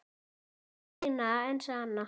Þeim eina og sanna?